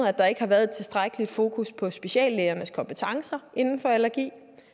at der ikke har været et tilstrækkeligt fokus på speciallægernes kompetencer inden for allergi